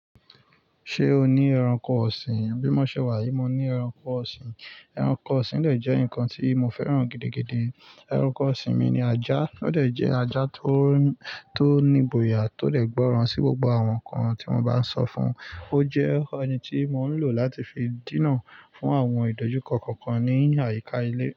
Ṣé o ní ẹranko ọ̀sìn? Bímọ ṣe wà yí, mo ní ẹranko ọ̀sìn. Ẹranko ọ̀sìn jẹ́ nǹkan tí mo fẹ́ràn gidigidi. Ẹranko ọ̀sìn mi ni ajá. Ó de je ajá tó ní igboya, tó lè gbọ́ràn sí gbogbo àwọn nǹkan tí mo bá sọ fún un. Ó jẹ́ ẹni tí mò ń lò láti fi dínà fún àwọn ìdójúkọ kọ̀ọ̀kan ní àyíká ilé.